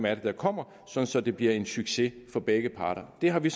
er der kommer så så det bliver en succes for begge parter det har vi